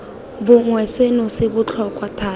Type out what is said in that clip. bongwe seno se botlhokwa thata